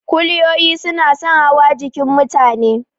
Kuliyoyi suna son hawa jikin mutane.